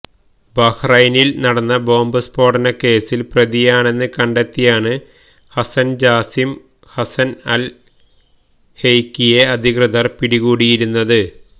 ബഹ്റൈനില് നടന്ന ബോംബ് സ്ഫോടന കേസില് പ്രതിയാണെന്ന് കണ്ടെത്തിയാണ് ഹസന് ജാസിം ഹസന് അല് ഹെയ്കിയെ അധികൃതര് പിടികൂടിയിരുന്നത്